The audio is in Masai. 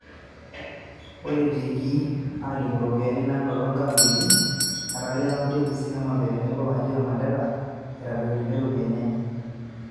Ore etiikii aalimu iropiyiani nanoto inkaontini, etalie kaonti e Busia, Homabay tenebo Wajir o Mandera eitadoitie iropiyiani enye.